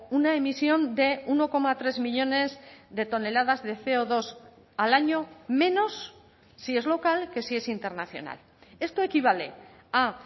una emisión de uno coma tres millónes de toneladas de ce o dos al año menos si es local que si es internacional esto equivale a